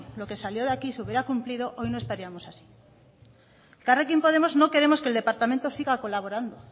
lo que salió de aquí se hubiera cumplido hoy no estaríamos así en elkarrekin podemos no queremos que el departamento siga colaborando